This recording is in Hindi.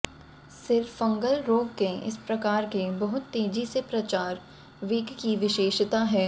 सिर फंगल रोग के इस प्रकार के बहुत तेजी से प्रचार वेग की विशेषता है